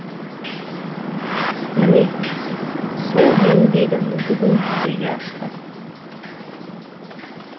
міне сол еңбегім бүгін жүзеге асты